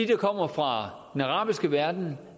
der kommer fra den arabiske verden